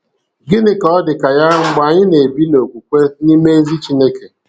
Gịnị ka ọ dị ka ya mgbe anyị na-ebi n'okwukwe n'ime ezi Chineke?